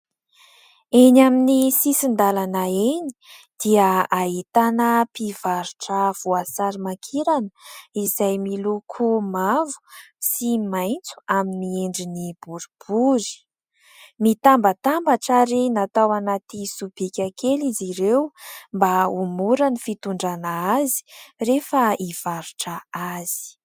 Eny amin'ny sisin-dalana eny dia ahitana mpivarotra voasary makirana. Izay miloko mavo sy maitso amin'ny endriny boribory. Mitambatambatra ary natao anaty sobika kely izy ireo mba ho mora ny fitondrana azy rehefa hivarotra azy.